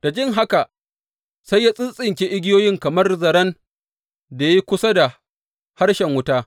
Da jin haka sai ya tsintsinke igiyoyin kamar zaren da ya yi kusa da harshen wuta.